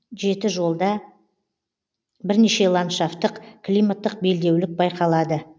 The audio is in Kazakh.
жетіжолда бірнеше ландшафттық климаттық белдеулік байқалады